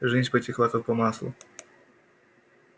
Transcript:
жизнь потекла как по маслу